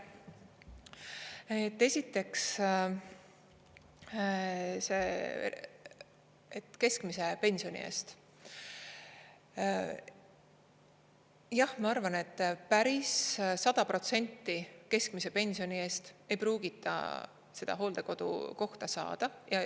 Esiteks see, et keskmise pensioni eest – jah, ma arvan, et päris 100% keskmise pensioni eest ei pruugita seda hooldekodukohta saada.